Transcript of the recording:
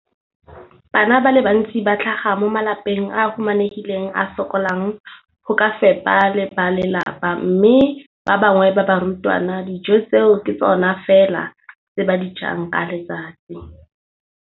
Bana ba le bantsi ba tlhaga mo malapeng a a humanegileng a a sokolang go ka fepa ba lelapa mme ba bangwe ba barutwana, dijo tseo ke tsona fela tse ba di jang ka letsatsi.